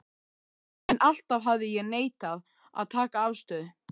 En alltaf hafði ég neitað að taka afstöðu.